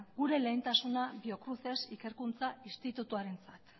gure lehentasuna biocruces ikerkuntza institutoarentzat